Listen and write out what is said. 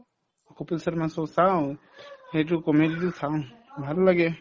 Kapil Sharma show চাওঁ সেইটো comedy তো চাওঁ ভাল লাগে